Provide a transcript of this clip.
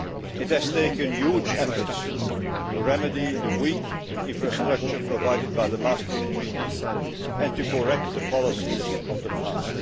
It has taken huge efforts to remedy the weak infrastructure provided by the Maastricht Treaty and to correct the policies of the past.